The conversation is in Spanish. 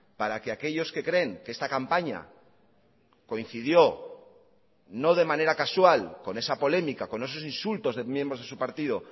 para que aquellos que creen que esta campaña coincidió no de manera casual con esa polémica con esos insultos de miembros de su partido